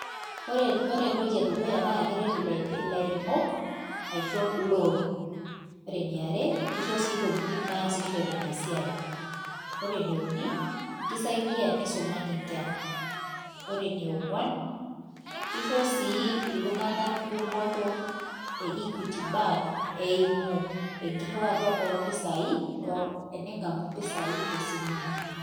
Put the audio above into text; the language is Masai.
Ore ore entoki e dukuya naake eret ila ilairemok aisho loan. Ore eniare kisho sii intokitin naasishore ina siai, ore ene uni kisaidia nisumaki inkera. Ore ene ong'uan kisho sii iltung'anak dupoto e Equity bank eimu enkiriwata oo mpisai oo ening'amu impisai te simu ino.